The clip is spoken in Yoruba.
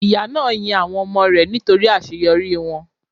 Ìyá náà yin àwọn ọmọ rẹ̀ nítorí àseyorí wọ́n